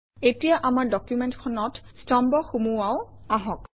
এতিয়া আমাৰ ডকুমেণ্টখনত স্তম্ভ সুমুৱাও আহক